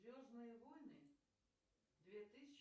звездные войны две тысячи